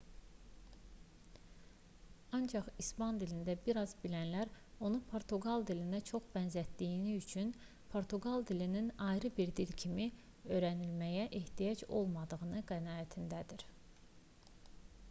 ancaq i̇span dilində bir az bilənlər onu portuqal dilinə çox bənzətdiyi üçün portuqal dilinin ayrı bir dil kimi öyrənilməyə ehtiyacının olmadığı qənaətindədir